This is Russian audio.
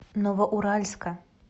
новоуральска